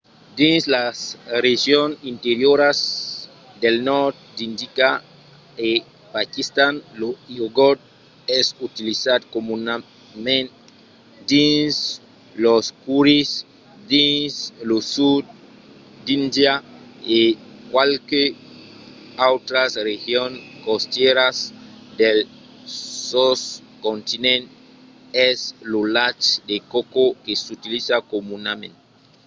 dins las regions interioras del nòrd d'índia e paquistan lo iogort es utilizat comunament dins los currys; dins lo sud d'índia e qualques autras regions costièras del soscontinent es lo lach de coco que s'utiliza comunament